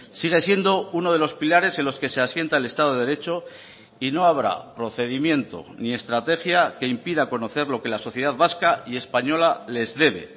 sigue siendo uno de los pilares en los que se asienta el estado de derecho y no habrá procedimiento ni estrategia que impida conocer lo que la sociedad vasca y española les debe